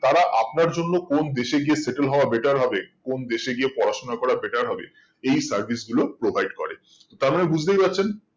তারা আপনার জন্য কোন দেশে গিয়ে settle হওয়া better হবে কোন দেশে গিয়ে পড়াশোনা করা better হবে এই service গুলো provide করে তার মানে বুজতেই পারছেন